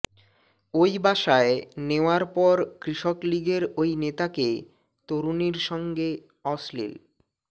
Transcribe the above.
ওই বাসায় নেওয়ার পর কৃষক লীগের ওই নেতাকে তরুণীর সঙ্গে অশ্নীল